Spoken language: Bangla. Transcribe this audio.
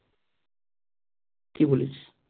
কি বলিস?